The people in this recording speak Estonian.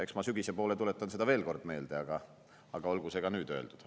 Eks ma sügise poole tuletan veel kord meelde, aga olgu see ka nüüd öeldud.